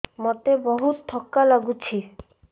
ମୋତେ ବହୁତ୍ ଥକା ଲାଗୁଛି